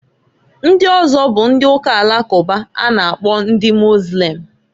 Ndị ọzọ bụ ndị Uka Alakụba a na -akpọ ndị Mozlem.